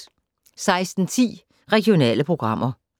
16:10: Regionale programmer